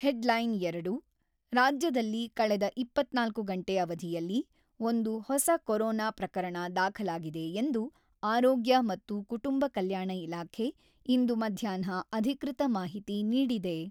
ಹೆಡ್‌ಲೈನ್-ಎರಡು ರಾಜ್ಯದಲ್ಲಿ ಕಳೆದ ಇಪ್ಪತ್ತ್ನಾಲ್ಕು ಗಂಟೆ ಅವಧಿಯಲ್ಲಿ ಒಂದು ಹೊಸ ಕೊರೊನಾ ಪ್ರಕರಣ ದಾಖಲಾಗಿದೆ ಎಂದು ಆರೋಗ್ಯ ಮತ್ತು ಕುಟುಂಬ ಕಲ್ಯಾಣ ಇಲಾಖೆ ಇಂದು ಮಧ್ಯಾಹ್ನ ಅಧಿಕೃತ ಮಾಹಿತಿ ನೀಡಿದೆ.